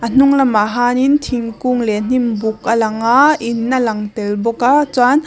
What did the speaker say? a hnung lamah hianin thingkung leh hnim buk a lang a in a lang tel bawk a chuan--